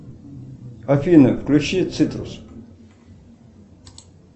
афина включи цитрус